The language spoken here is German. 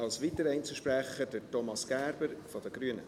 Als weiterer Einzelsprecher, Thomas Gerber von den Grünen.